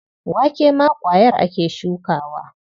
Wake ma ƙwayar ake shukawa.